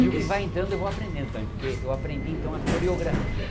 E o que vai entrando eu vou aprendendo também, porque eu aprendi então a coreografia.